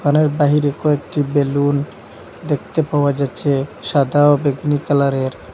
বাহিরে কয়েকটি বেলুন দেখতে পাওয়া যাচ্ছে সাদা ও বেগনি কালারের।